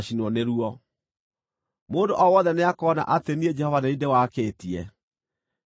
Mũndũ o wothe nĩakoona atĩ niĩ Jehova nĩ niĩ ndĩwakĩtie; ndũkahoreka.’ ”